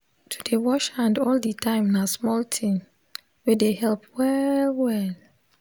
to dey wash hand all the time na small thing wey dey help well well